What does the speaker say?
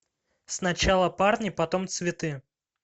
сначала парни потом цветы